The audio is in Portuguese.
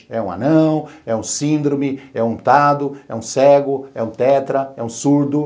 É um anão, é um síndrome, é um tado, é um cego, é um tetra, é um surdo.